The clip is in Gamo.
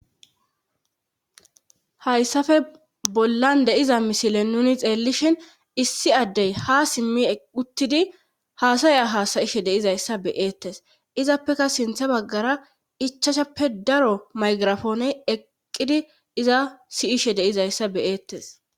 hayssafe bollan deiza misilen nuni xeellishin issi addey ha simmi uttidi haasaya haasayishe deizayssa beyeettes izappeka sinthe baggara ichacshappe daro maygirafooney eqqidi diza siyishe de'izayssa beyeettes